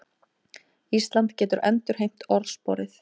Ísland getur endurheimt orðsporið